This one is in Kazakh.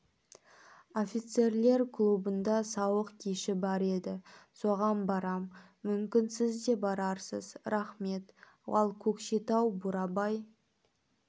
офицерлер клубында сауық кеші бар еді соған барам мүмкін сіз де барарсыз рахмет ал көкшетау бурабай